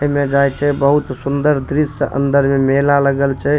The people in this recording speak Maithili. एमे जाय छै बहुत सुन्दर दृश्य अंदर में मेला लगल छै।